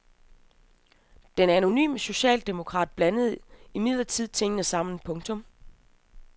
Den anonyme socialdemokrat blander imidlertid tingene sammen. punktum